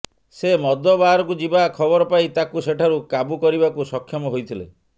ସେ ମଦ ବାରକୁ ଯିବା ଖବର ପାଇ ତାକୁ ସେଠାରୁ କାବୁ କରିବାକୁ ସକ୍ଷମ ହୋଇଥିଲେ